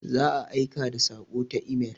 Za a aika da saƙo ta imel.